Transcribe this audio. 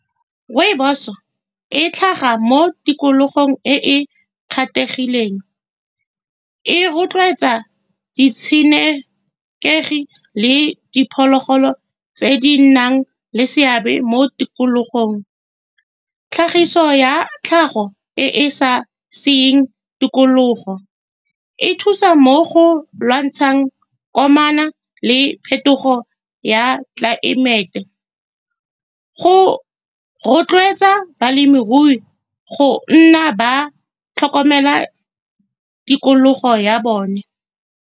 Rooibos-so e tlhaga mo tikologong e e kgethegileng, e rotloetsa ditshenekegi le diphologolo tse di nang le seabe mo tikologong. Tlhagiso ya tlhago e e sa di tikologo, e thusa mo go lwantshang gore amana le phetogo ya tlelaemete , go rotloetsa balemirui go nna ba tlhokomela tikologo ya bone.